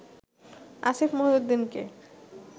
Asif মহিউদ্দিনকে